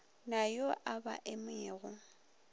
na yo a ba emago